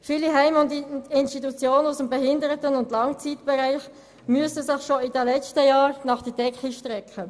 Viele Heime und Institutionen aus dem Behinderten- und Langzeitbereich mussten sich bereits in den vergangenen Jahren nach der Decke strecken.